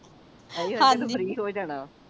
ਹਾਂਜੀ ਫ਼੍ਰੀ ਹੋ ਜਾਣਾ